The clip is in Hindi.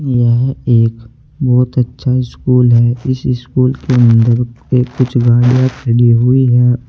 यह एक बहुत अच्छा स्कूल है इस स्कूल के अंदर एक कुछ गाड़ियां खड़ी हुई हैं औ--